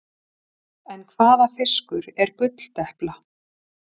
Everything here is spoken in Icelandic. En hvaða fiskur er gulldepla?